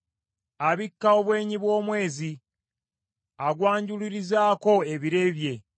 Abikka obwenyi bw’omwezi, agwanjululizaako ebire bye.